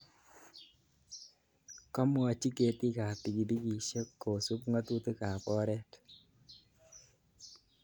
Komwochi ketiik ap pikipikisyek kosup ng'atutik ap oret.